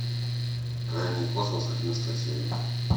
крайний космос одиннадцатая серия